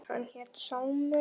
Hann hét Sámur.